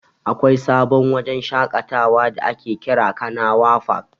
Akwai sabon wajen shaƙatawa da ake kira "Kanawa fak".